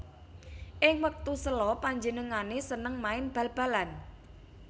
Ing wektu sela panjenengané seneng main bal balan